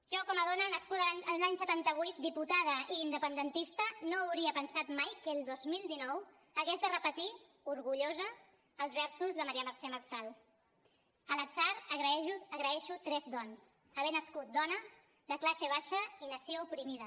jo com a dona nascuda l’any setanta vuit diputada i independentista no hauria pensat mai que el dos mil dinou hagués de repetir orgullosa els versos de maria mercè marçal a l’atzar agraeixo tres dons haver nascut dona de classe baixa i nació oprimida